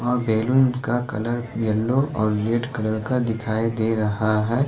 वहां बैलून का colour yellow और रेड कलर का दिखाई दे रहा है।